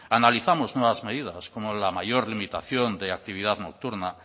analizamos nuevas medidas como la mayor limitación de actividad nocturna